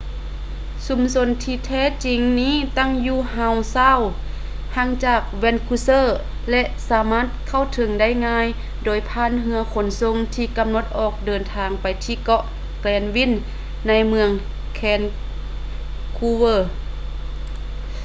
ຊຸມຊົນທີ່ແທ້ຈິງນີ້ຕັ້ງຢູ່ ຮາວ ຊາວ howe sound ຫ່າງຈາກ ແວນຄູເວີ vancouver ແລະ ສາມາດເຂົ້າເຖິງໄດ້ງ່າຍໂດຍຜ່ານເຮືອຂົນສົ່ງທີ່ກຳນົດອອກເດີນທາງໄປທີ່ເກາະ ແກຼນວິນ granville ໃນເມືອງ ແວນຄູເວີ vancouver